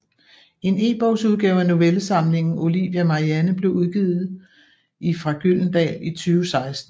En ebogsudgave af novellesamlingen Olivia Marianne blev udgivet i fra Gyldendal i 2016